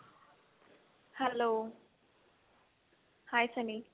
hello hi sunny